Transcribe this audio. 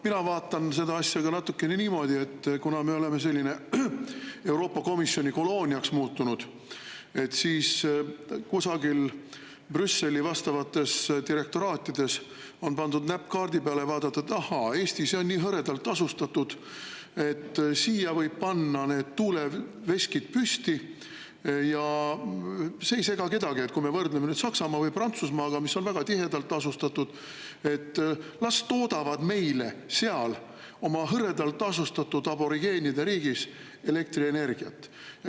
Mina vaatan seda asja ka natukene niimoodi, et kuna me oleme selliseks Euroopa Komisjoni kolooniaks muutunud, siis kusagil Brüsseli vastavates direktoraatides on pandud näpp kaardi peale ja: ahhaa, Eesti, see on nii hõredalt asustatud, sinna võib panna need tuuleveskid püsti ja see ei sega kedagi võrreldes Saksamaa või Prantsusmaaga, mis on väga tihedalt asustatud, las toodavad meile seal oma hõredalt asustatud aborigeenide riigis elektrienergiat.